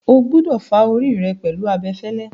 O gbúdọ̀ fá orí rẹ pẹ̀lú abẹfẹ́lẹ́.